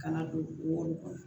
Kana don woro kɔnɔ